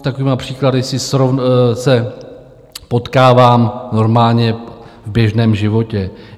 S takovými příklady se potkávám normálně v běžném životě.